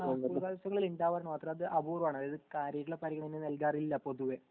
school കലോത്സവങ്ങളിൽ ണ്ടവ അത് അപൂർവണ് അതായത് കാര്യായിട്ട്ള്ള പരിഗണന അതിന് നൽകാറില്ല പൊതുവെ